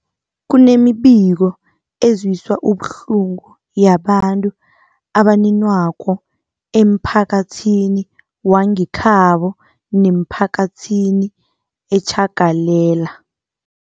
Kunemibiko ezwisa ubuhlungu yabantu abaninwakoemphakathini wangekhabo nemiphakathi etjhagalela